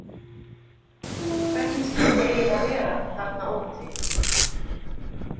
Hvernig skyldi eiginlega vera þarna úti?